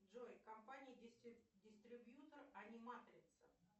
джой компания дистрибьютор аниматрица